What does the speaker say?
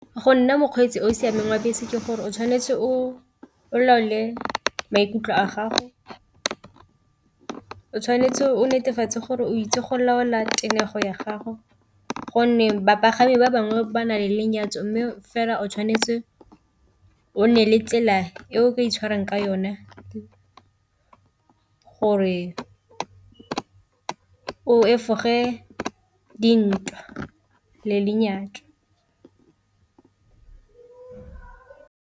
Go nna mokgweetsi o o siameng wa bese ke gore o tshwanetse o laole maikutlo a gago, o tshwanetse o netefatse gore o itse go laola tenego ya gago gonne bapagami ba bangwe ba na le lenyatso, mme fela o tshwanetse o nne le tsela e o ka itshwarang ka yona gore o efoge dintwa le lenyalo.